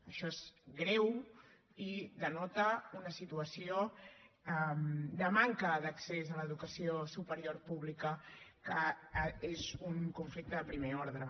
això és greu i denota una situació de manca d’accés a l’educació superior pública que és un conflicte de primer ordre